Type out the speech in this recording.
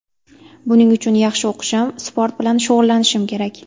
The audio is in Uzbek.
Buning uchun yaxshi o‘qishim, sport bilan shug‘ullanishim kerak.